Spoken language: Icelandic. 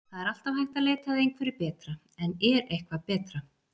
Það er alltaf hægt að leita að einhverju betra en er eitthvað betra?